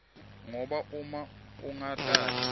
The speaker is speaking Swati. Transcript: ngoba uma ungatati